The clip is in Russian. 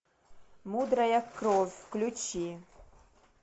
мудрая кровь включи